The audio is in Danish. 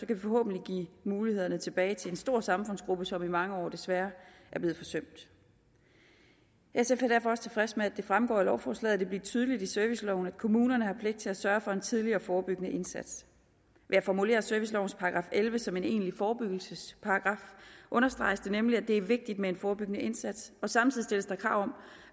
kan vi forhåbentlig give mulighederne tilbage til en stor samfundsgruppe som i mange år desværre er blevet forsømt sf er derfor også tilfreds med at det fremgår af lovforslaget vil blive tydeligt i serviceloven at kommunerne har pligt til at sørge for en tidlig og forebyggende indsats ved at formulere servicelovens § elleve som en egentlig forebyggelsesparagraf understreges det nemlig at det er vigtigt med en forebyggende indsats og samtidig stilles der krav om